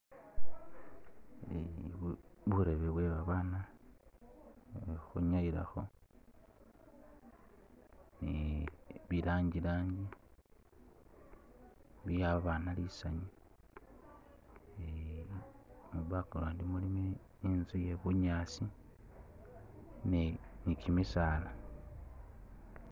Burebe bwe babaana bwe khukhwinyayilakho ne bilangi langi biwa abana lisanyu ni mu'background mulimo inzu iye bunyaasi ni kimisaala